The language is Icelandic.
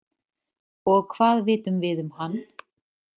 Og hvað vitum við um hann?